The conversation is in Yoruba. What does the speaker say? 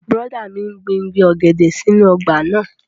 Bùrọ̀dá mi n gbin igi ọ̀gẹ̀dẹ̀ sínú ọgbà náà